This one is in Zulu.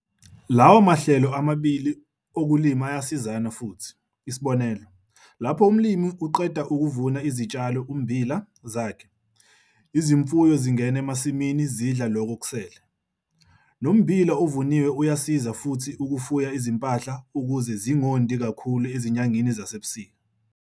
Lawa mahlelo amabili okulima ayasizana futhi -isibonelo - lapho umlimi uqede ukuvuna izitshalo, ummbila, zakhe, izimfuyo zingena amasimini zidla lokho okusele. Nommbila ovuniwe uyasiza futhi ukufuya izimpahla ukuze zingondi kakhulu ezinyangeni zasebusika.